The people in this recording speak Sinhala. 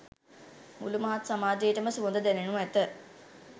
මුළු මහත් සමාජයටම සුවඳ දැනෙනු ඇත.